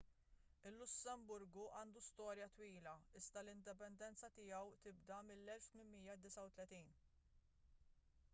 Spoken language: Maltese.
il-lussemburgu għandu storja twila iżda l-indipendenza tiegħu tibda mill-1839